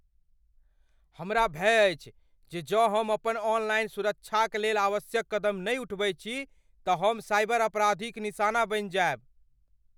हमरा भय अछि जे जौं हम अपन ऑनलाइन सुरक्षाक लेल आवश्यक कदम नहि उठबैत छी तँ हम साइबर अपराधीक निशाना बनि जायब।